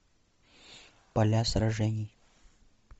поля сражений